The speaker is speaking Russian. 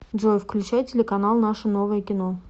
джой включай телеканал наше новое кино